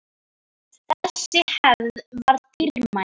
Þessi hefð var mjög dýrmæt.